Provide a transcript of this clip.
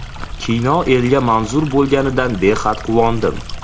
Kino elga manzur bo‘lganidan, behad quvondim.